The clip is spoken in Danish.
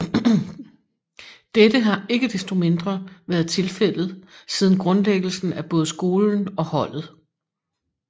Dette har ikke desto mindre været tilfældet siden grundlæggelsen af både skolen og holdet